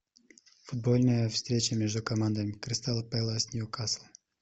футбольная встреча между командами кристал пэлас ньюкасл